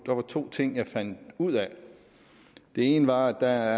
var to ting jeg fandt ud af den ene var at der